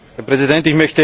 Herr Präsident!